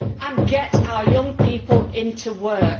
And get our young people into work.